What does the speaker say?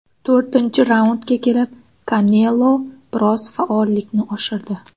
To‘rtinchi raundga kelib Kanelo biroz faollikni oshirdi.